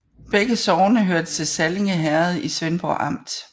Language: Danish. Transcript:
Begge sogne hørte til Sallinge Herred i Svendborg Amt